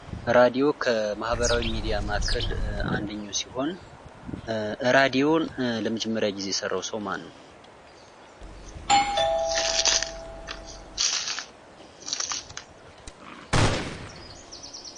ራድዮ ከማህበራዊ ሚዲያ መካከል አንደኛው ሲሆን ራድዮን ለመጀመሪያ ጊዜ የሰራው ሰው ማን ነው?